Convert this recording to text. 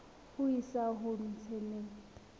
ho isa ho tse nne